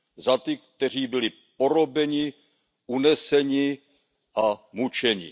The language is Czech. Za ty, kteří byli porobeni, uneseni a mučeni.